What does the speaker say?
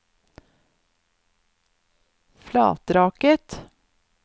Flatraket